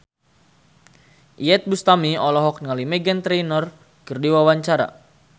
Iyeth Bustami olohok ningali Meghan Trainor keur diwawancara